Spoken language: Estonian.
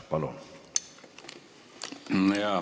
Palun!